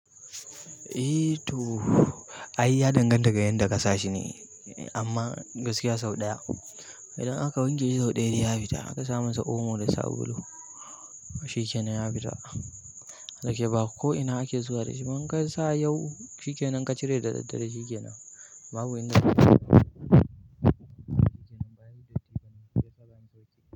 Eh to, ai ya danganta ga yanda ka sa shi ne amma gaskiya sau ɗaya. Idan aka wanke shi sau ɗaya ya fita aka sa masa omo da sabulu, shikenan ya fita. Dake ba ko ina ake zuwa da shi. In ka sa yau shi kenan in ka cire da daddare shike nan.